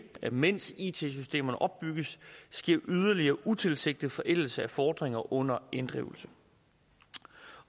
mens it systemerne opbygges sker yderligere utilsigtet forældelse af fordringer under inddrivelse